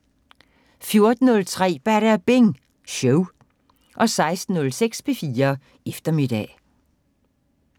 14:03: Badabing Show 16:06: P4 Eftermiddag